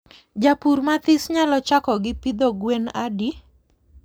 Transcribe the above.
Japur mathis nyalo chako gi pidho gwen adi?